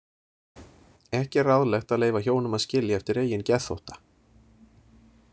Ekki er ráðlegt að leyfa hjónum að skilja eftir eigin geðþótta.